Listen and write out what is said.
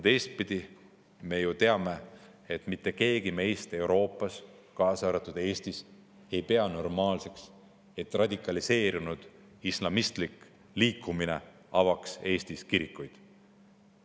Teistpidi, me ju teame, et mitte keegi meist Euroopas, kaasa arvatud Eestis, ei pea normaalseks, et radikaliseerunud islamistlik liikumine avaks Eestis.